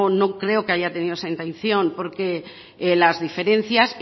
no creo que haya tenido esa intención porque las diferencias